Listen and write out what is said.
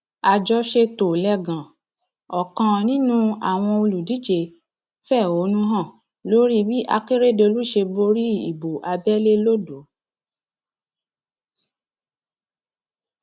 àjọṣetòlẹgàn ọkan nínú àwọn olùdíje fẹhónú hàn lórí bí akérèdọlù ṣe borí ìbò abẹlé lodò